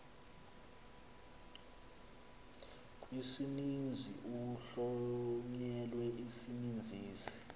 kwisininzi kuhlonyelwe isininzisi